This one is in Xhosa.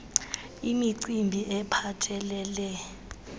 c imicimbi ephathelele